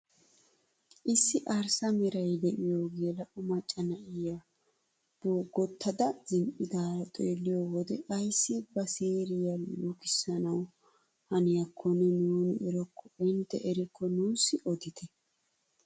Issi arssa meray de'iyoo geela'o macca na'iyaa boggotada zin"idaaro xeelliyoo wode ayssi ba siiriyaa lukisanawu haniyakonne nuuni erokko ente eriko nuusi odite?